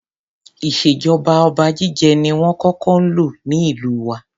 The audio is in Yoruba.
Ìṣèjọba oba jíjẹ ni wón kókó ń lò ní ìlú wa.